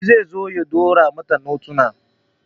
Shi ze zo ya ɗaure mata notunan